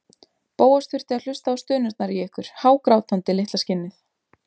Bóas þurfti að hlusta á stunurnar í ykkur, hágrátandi, litla skinnið!